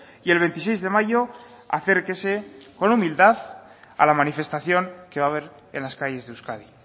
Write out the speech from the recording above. y el veintiséis de mayo acérquese con humildad a la manifestación que va a haber en las calles de euskadi